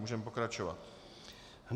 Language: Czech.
Můžeme pokračovat.